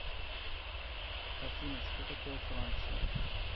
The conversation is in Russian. афина что такое франция